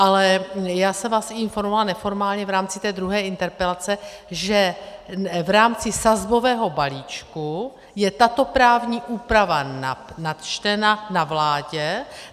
Ale já jsem vás informovala neformálně v rámci té druhé interpelace, že v rámci sazbového balíčku je tato právní úprava načtena na vládě.